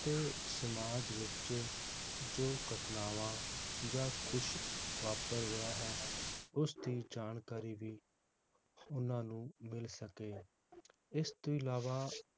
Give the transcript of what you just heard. ਤੇ ਸਮਾਜ ਵਿਚ ਜੋ ਘਟਨਾਵਾਂ ਜਾਂ ਕੁਛ ਵਾਪਰ ਰਿਹਾ ਹੈ ਉਸ ਦੀ ਜਾਣਕਾਰੀ ਵੀ ਓਹਨਾ ਨੂੰ ਮਿਲ ਸਕੇ ਇਸ ਤੋਂ ਅਲਾਵਾ